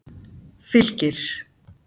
Fylkir